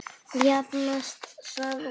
Jafnast það út?